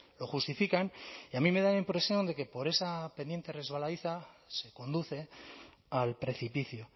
lo justifican y a mí me da la impresión de que por esa pendiente resbaladiza se conduce al precipicio